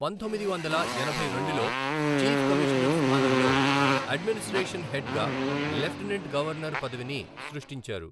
పంతొమ్మిది వందల ఎనభై రెండులో చీఫ్ కమీషనర్ స్థానంలో అడ్మినిస్ట్రేషన్ హెడ్గా లెఫ్టినెంట్ గవర్నర్ పదవిని సృష్టించారు.